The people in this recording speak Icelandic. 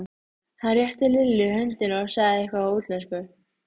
Gerði meira en að umbera hann: þóttist skilja hann.